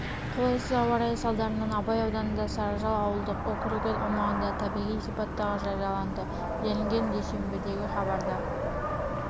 қолайсыз ауа райы салдарынан абай ауданында сарыжал ауылдық округі аумағында табиғи сипаттағы жарияланды делінген дүйсенбідегі хабарда